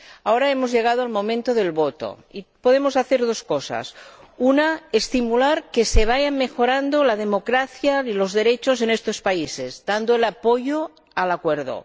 Ahora, hemos llegado al momento de la votación y podemos hacer dos cosas una, estimular la mejora de la democracia y los derechos en estos países, dando nuestro apoyo al Acuerdo